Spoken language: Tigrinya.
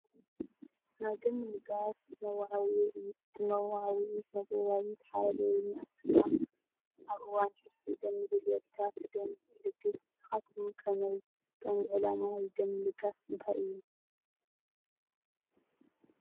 ናይ ደም ምልጋስ መወዓውዒ እዩ፣ እቲ መወዓውዒ ስነጥበባዊ ሓረገወይን ኣሰፋ፤ "ኣብ እዋን ሕርሲ ደም ንዘድልዮም ኣዴታት ደም እልግስ! ንስኻትኩም ከመይ??" ቀንዲ ዕላማ ናይዚ ደም ምልጋስ እንታይ እዩ?